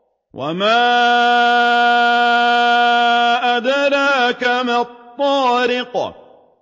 وَمَا أَدْرَاكَ مَا الطَّارِقُ